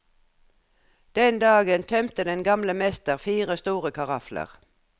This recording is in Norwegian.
Den dagen tømte den gamle mester fire store karafler.